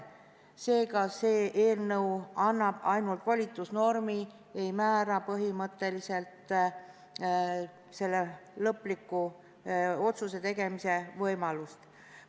Seega annab see eelnõu ainult volitusnormi, mitte ei määra põhimõtteliselt lõpliku otsuse tegemise võimalust.